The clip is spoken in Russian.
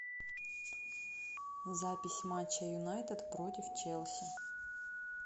запись матча юнайтед против челси